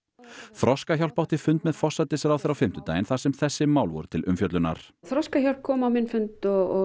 Þroskahjálp átti fund með forsætisráðherra á fimmtudaginn þar sem þessi mál voru til umfjöllunar Þroskahjálp kom á minn fund og